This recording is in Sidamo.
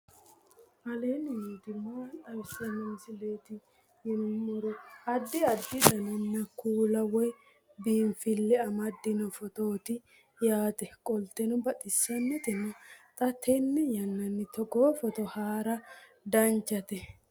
aleenni nooti maa xawisanno misileeti yinummoro addi addi dananna kuula woy biinsille amaddino footooti yaate qoltenno baxissannote xa tenne yannanni togoo footo haara danvchate